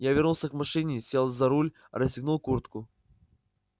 я вернулся к машине сел за руль расстегнул куртку